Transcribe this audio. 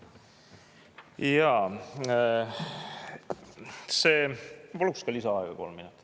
Ja ma paluksin lisaaega kolm minutit.